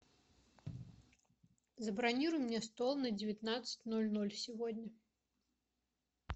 забронируй мне стол на девятнадцать ноль ноль сегодня